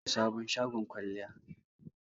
an bude sabon shagon kwalliya